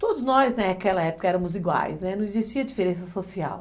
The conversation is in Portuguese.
Todos nós naquela época éramos iguais, né, não existia diferença social.